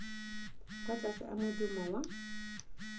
kwa tlase a modumo wa